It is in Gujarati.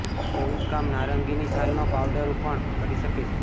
તેવું જ કામ નારંગીની છાલનો પાઉડર પણ કરી શકે છે